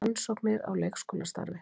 Rannsóknir á leikskólastarfi